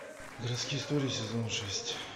городские истории сезон шесть